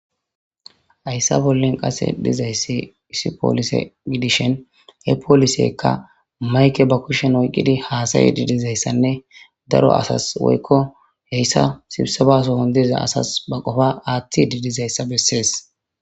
Hayssa bollen qase dizayssi isi poolise gidishen he poolisekka mayke ba kushen oyqqidi haasayi diidizayssanne daro asas woykko heyssa sibsebaso hon diza asas ba qofa aathti didizayssa bessees.